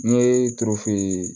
N ye tulu funfun